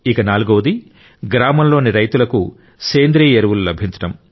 నాల్గవది గ్రామంలోని రైతులకు సేంద్రియ ఎరువులు లభించడం